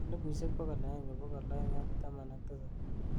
elipusiek bogol agenge bogol oeng' ak taman ak tisab